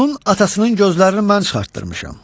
Onun atasının gözlərini mən çıxartdırmışam.